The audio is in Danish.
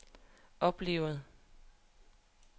oplevede